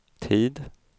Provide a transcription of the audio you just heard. tid